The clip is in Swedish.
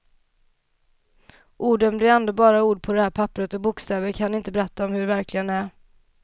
Orden blir ändå bara ord på det här papperet, och bokstäver kan inte berätta om hur det verkligen är.